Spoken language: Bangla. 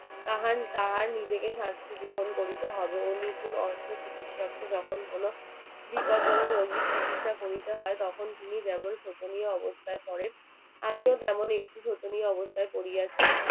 তাহার তাহার নিজেকে শাস্তি গ্রহণ করিতে হবে। অনুকূল অস্ত্রে চিকিৎসার্থে যখন কোনো বিপদজনক রোগীর চিকিৎসা করিতে হয় তখন তিনি যেমন শোচনীয় অবস্থায় পড়েন আমিও তেমন একটি শোচনীয় অবস্থায় পড়িয়াছি